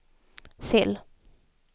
cell